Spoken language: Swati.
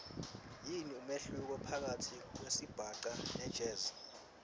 yini umehluko phakatsi kwesibhaca nejazz